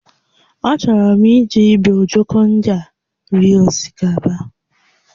Achọrọ m iji ibe ojoko ndị a rie osikapa